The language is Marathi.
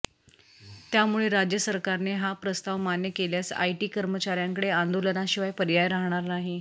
त्यामुळे राज्य सरकारने हा प्रस्ताव मान्य केल्यास आयटी कर्मचाऱ्यांकडे आंदोलनाशिवाय पर्याय राहणार नाही